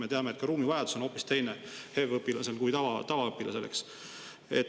Me teame, et HEV õpilasel on ruumivajadus hoopis teine kui tavaõpilasel.